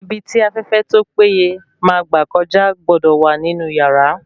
Ibi tí afẹ́fẹ́ tó pé ye máa gbà kọjá gbọ́dọ̀ wà ní inú yàrá